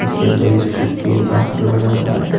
पीछे दो स्कूल के बस लगा हुआ है।